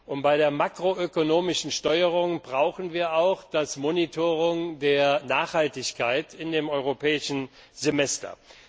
Und bei der makroönomischen Steuerung brauchen wir auch das monitoring der Nachhaltigkeit in dem Europäischen Semester.